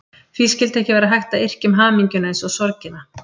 Því skyldi ekki vera hægt að yrkja um hamingjuna eins og sorgina?